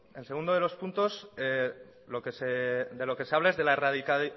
el segundo de los puntos de lo que se habla es de la